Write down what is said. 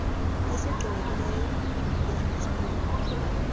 esigqibekileyo bunisess plan